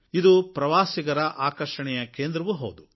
ಇದು ಪ್ರವಾಸಿಗರ ಆಕರ್ಷಣೆಯ ಕೇಂದ್ರವೂ ಹೌದು